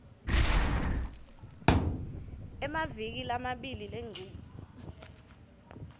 emavikini lamabili lengcile